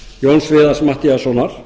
jóns viðars matthíassonar